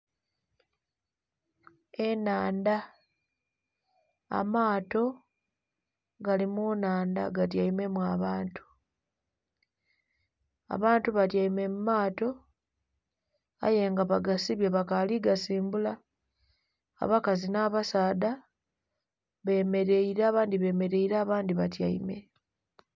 Enhandha amato gali mu nhandha ga tyaimemu abantu, abantu batyaime mu mato aye nga bagasibye bakali gasimbula, abakazi nha basaadha bemereire abandhi bemereire abandhi batyaime.